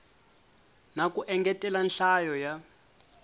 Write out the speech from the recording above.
na ku engetela nhlayo ya